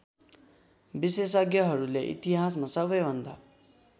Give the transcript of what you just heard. विशेषज्ञहरूले इतिहासमा सबैभन्दा